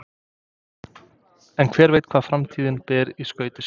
En hver veit hvað framtíðin ber í skauti sér?